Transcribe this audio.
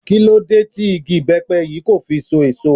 Kí ló dé tí igi ibepe yìí kò fi so èso?